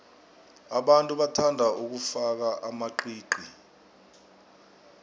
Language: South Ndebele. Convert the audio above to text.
abantu bathanda ukufaka amaqiqi